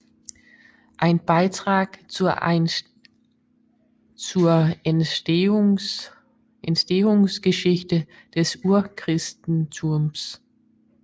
Ein Beitrag zur Entstehungsgeschichte des Urchristentums